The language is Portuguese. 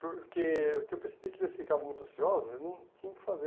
Porque o que eu percebi é que eles ficavam muito ociosos e não tinham o que fazer.